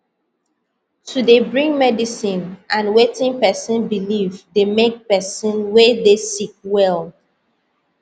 to dey bring medicine and wetin pesin believe dey make pesin wey dey sick well